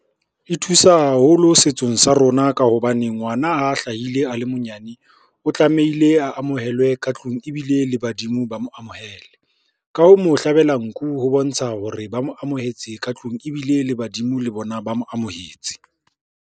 E thusa haholo setsong sa rona ka hobane ngwana ha hlahile a le monyane, o tlamehile a amohelwe ka tlung ebile le badimo ba mo amohele. Ka ho mo hlabela nku ho bontsha hore ba mo amohetse ka tlung ebile le badimo le bona, ba mo amohetse.